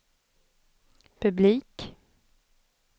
publik